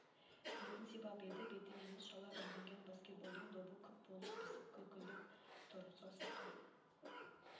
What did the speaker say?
бетін сипап еді беті емес шала үрленген баскетболдың добы күп болып ісіп көлкілдеп тұр саусаққа